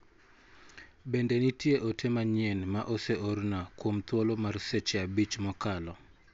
Bende nitie ote manyien ma ose orna kuom thuolo mar seche abich mokalo?